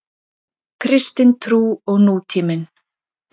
Kristin trú og nútíminn.